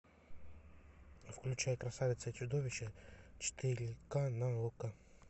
включай красавица и чудовище четыре ка на окко